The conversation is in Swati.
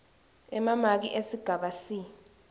emamaki esigaba c